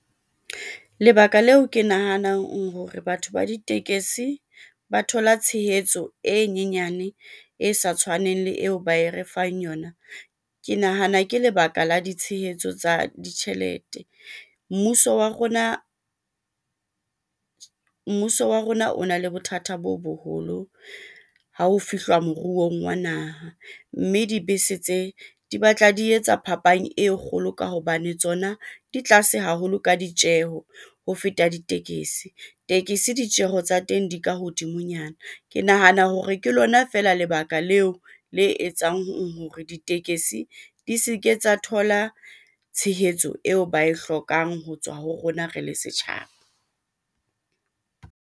Lebaka leo ke nahanang hore batho ba ditekesi ba thola tshehetso e nyenyane e sa tshwaneng le eo ba e re fang yona. Ke nahana ke lebaka la ditshehetso tsa ditjhelete, mmuso wa rona o na le bothata bo boholo ha ho fihluwa moruong wa naha, mme dibese tse di batla di etsa phapang e kgolo ka hobane tsona di tlase haholo ka ditjeho ho feta ditekesi, tekesi ditjeho tsa teng di ka hodimonyana. Ke nahana hore ke lona fela lebaka leo le etsang hore ditekesi di se ke tsa thola tshehetso eo ba e hlokang ho tswa ho rona, re le setjhaba.